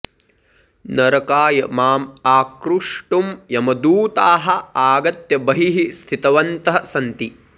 नरकाय माम् आकृष्टुं यमदूताः आगत्य बहिः स्थितवन्तः सन्ति